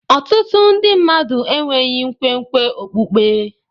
Ọtụtụ ndị mmadụ enweghị nkwenkwe okpukpe.